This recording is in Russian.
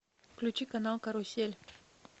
включи канал карусель